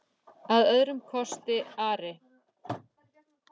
Að öðrum kosti Ari?